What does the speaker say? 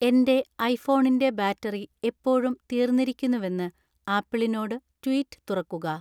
എന്‍റെ ഐഫോണിന്‍റെ ബാറ്ററി എപ്പോഴും തീർന്നിരിക്കുന്നുവെന്ന് ആപ്പിളിനോട് ട്വീറ്റ് തുറക്കുക